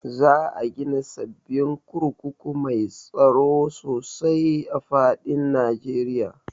Za a gina sababbin kurkuku mai tsaro sosai a duk faɗin Najeriya